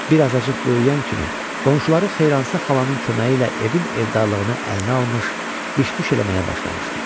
Bir azacıq böyüyən kimi qonşuları Xeyransa xalanın köməyi ilə evin evdarlığını əlinə almış, biş-düş eləməyə başlamışdı.